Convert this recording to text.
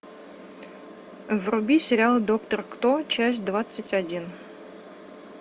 вруби сериал доктор кто часть двадцать один